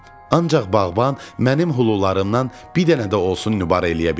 Ancaq bağban mənim hulularımdan bir dənə də olsun nübar eləyə bilməyib.